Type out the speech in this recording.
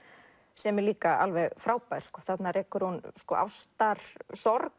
sem er líka alveg frábær þarna rekur hún ástarsorg